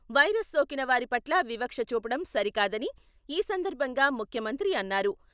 Virus సోకిన వారి పట్ల వివక్ష చూపడం సరి కాదని ఈ సందర్భంగా ముఖ్యమంత్రి అన్నారు.